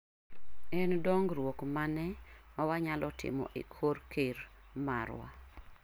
En dong'ruok mane mawa nyalo timo e kor ker marwa?